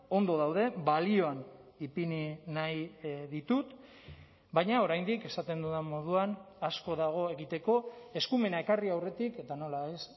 ondo daude balioan ipini nahi ditut baina oraindik esaten dudan moduan asko dago egiteko eskumena ekarri aurretik eta nola ez